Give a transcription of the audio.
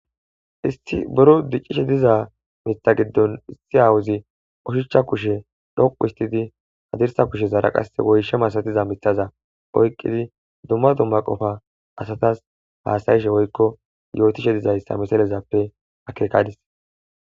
Isti buro diccishe diza mitha giddon issi awuzi oshicha kushe dhoqu istidi hadirsa kushe zaara qase woyshe masatiza mithaza oyqqidi dumma dumma qofa asatas faasayishe woykko yootishe dizayssa misalezappe akeekadis